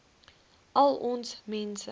al ons mense